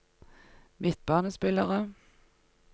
midtbanespillere